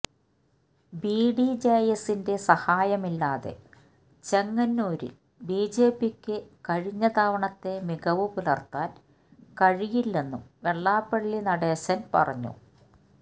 ബിഡിജെഎസിന്റെ സഹായമില്ലാതെ ചെങ്ങന്നൂരില് ബിജെപിക്കു കഴിഞ്ഞ തവണത്തെ മികവ് പുലര്ത്താന് കഴിയില്ലെന്നും വെള്ളാപ്പള്ളി നടേശന് പറഞ്ഞു